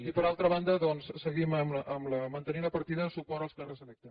i per altra banda doncs seguim mantenint la partida de suport als càrrecs electes